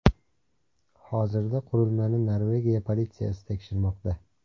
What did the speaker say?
Hozirda qurilmani Norvegiya politsiyasi tekshirmoqda.